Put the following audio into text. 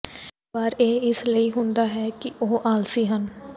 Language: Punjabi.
ਕਈ ਵਾਰ ਇਹ ਇਸ ਲਈ ਹੁੰਦਾ ਹੈ ਕਿ ਉਹ ਆਲਸੀ ਹਨ